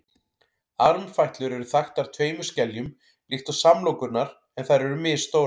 armfætlur eru þaktar tveimur skeljum líkt og samlokurnar en þær eru misstórar